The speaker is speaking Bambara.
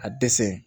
A dɛsɛ